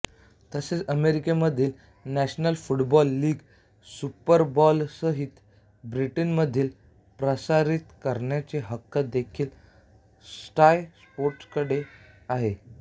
तसेच अमेरिकेमधील national football league सुपरबोलसहित ब्रिटनमध्ये प्रसारित करण्याचे हक्क देखील स्काय स्पोर्ट्सकडेच आहेत